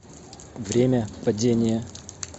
время падения